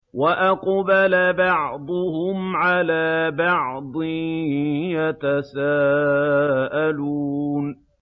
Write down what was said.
وَأَقْبَلَ بَعْضُهُمْ عَلَىٰ بَعْضٍ يَتَسَاءَلُونَ